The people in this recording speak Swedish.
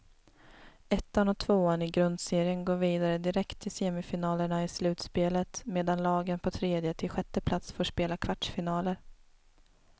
Ettan och tvåan i grundserien går vidare direkt till semifinalerna i slutspelet, medan lagen på tredje till sjätte plats får spela kvartsfinaler.